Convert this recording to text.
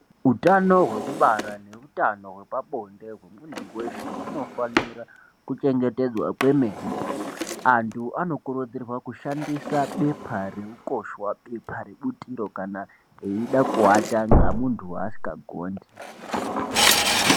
Utano hwekubara neutano hwepabonde hwemuntu weshe hunofanira kuchengetedzwa kwemene , antu anokurudzirwa kushandisa bepa reukosha bepa rebutiro kana eida kuwata ngamuntu waasingagondi.